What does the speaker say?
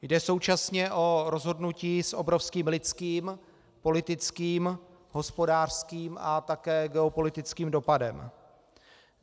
Jde současně o rozhodnutí s obrovským lidským, politickým, hospodářským a také geopolitickým dopadem.